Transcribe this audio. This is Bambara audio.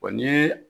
Wa ni